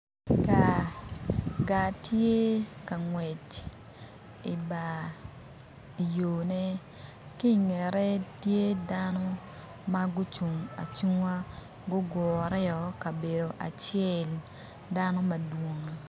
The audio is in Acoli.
Gaa, gaa tye ka ngwec i bar i yone ki i ngette tye dano ma gucung acunga gugureo i kabedo acel dano madwong